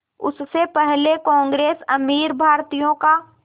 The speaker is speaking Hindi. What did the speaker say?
उससे पहले कांग्रेस अमीर भारतीयों का